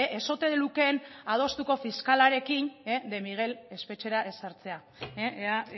ez ote lukeen adostuko fiskalarekin de miguel espetxera ez sartzea ea